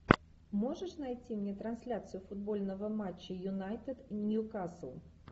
можешь найти мне трансляцию футбольного матча юнайтед ньюкасл